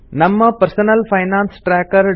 ನಮ್ಮ personal finance tracker